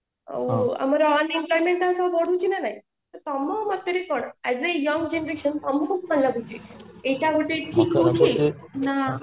ଆଉ ଆମର ବଢୁଛି ନା ନାଇ ତ ତମ ମତ ରେ କଣ ରେ as a young generation ତମକୁ କଣ ଲାଗୁଛି ଏଇଟା ଗୋଟେ ଠିକ ହୋଉଛି ନା